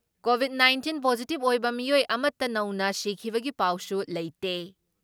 Covid nineteen positive ꯑꯣꯏꯕ ꯃꯤꯑꯣꯏ ꯑꯃꯠꯇ ꯅꯧꯅ ꯁꯤꯈꯤꯕꯒꯤ ꯄꯥꯎꯁꯨ ꯂꯩꯇꯦ꯫